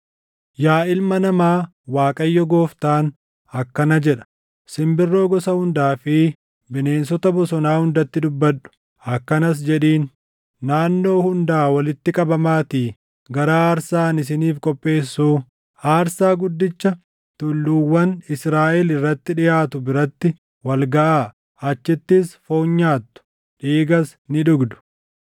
“Yaa ilma namaa, Waaqayyo Gooftaan akkana jedha: Simbirroo gosa hundaa fi bineensota bosonaa hundatti dubbadhu; akkanas jedhiin: ‘Naannoo hundaa walitti qabamaatii gara aarsaa ani isiniif qopheessuu, aarsaa guddicha tulluuwwan Israaʼel irratti dhiʼaatu biratti wal gaʼaa. Achittis foon nyaattu; dhiigas ni dhugdu.